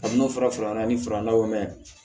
A n'o fɔra faralan ni farala